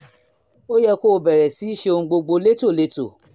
ó yẹ kó o bẹ̀rẹ̀ sí í ṣe ohun gbogbo létòlétò